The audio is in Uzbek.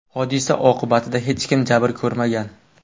Hodisa oqibatida hech kim jabr ko‘rmagan.